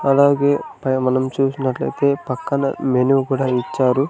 అలాగే పై మనం చూసినట్లయితే పక్కన మెనూ కూడా ఇచ్చారు.